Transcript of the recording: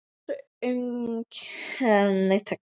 Sjálfsaumkun og bölmóður voru viðlag þessa napra haustdags.